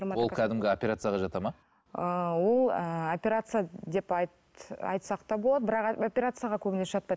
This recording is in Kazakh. ол кәдімгі оперцияға жатады ма ыыы ол ыыы операция деп айтсақ та болады бірақ операцияға көбінесе жатпайды